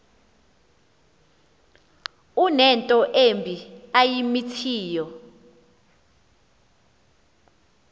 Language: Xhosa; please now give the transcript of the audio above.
unento embi ayimithiyo